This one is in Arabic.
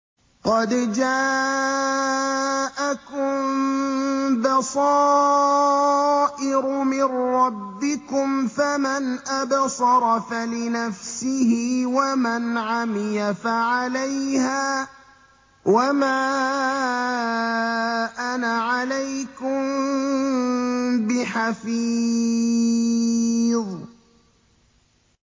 قَدْ جَاءَكُم بَصَائِرُ مِن رَّبِّكُمْ ۖ فَمَنْ أَبْصَرَ فَلِنَفْسِهِ ۖ وَمَنْ عَمِيَ فَعَلَيْهَا ۚ وَمَا أَنَا عَلَيْكُم بِحَفِيظٍ